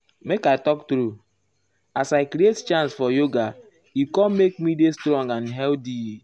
make i talk true as i create chance for yoga e com make me dey strong and healthy.